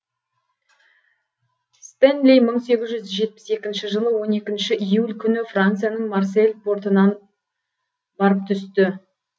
стенли мың сегіз жүз жетпіс екінші жылы он екінші июль күні францияның марсель портынан барып түсті